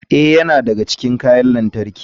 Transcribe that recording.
Ee, yana daga cikin kayan lantarki.